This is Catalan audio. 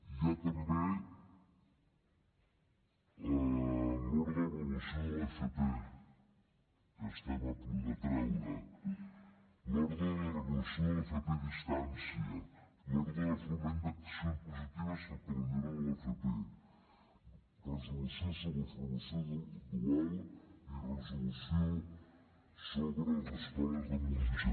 hi ha també l’ordre d’avaluació de l’fp que estem a punt de treure l’ordre de la regulació de l’fp a distància l’ordre de foment d’accions positives per a la millora de l’fp resolució sobre la formació dual i resolució sobre les escoles de música